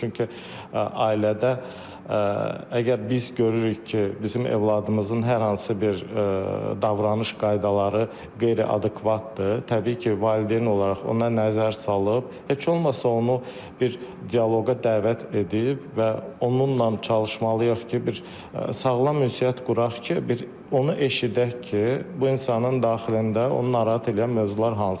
Çünki ailədə əgər biz görürük ki, bizim övladımızın hər hansı bir davranış qaydaları qeyri-adekvatdır, təbii ki, valideyn olaraq ona nəzər salıb, heç olmasa onu bir dialoqa dəvət edib və onunla çalışmalıyıq ki, bir sağlam ünsiyyət quraq ki, bir onu eşidək ki, bu insanın daxilində onu narahat edən mövzular hansıdır.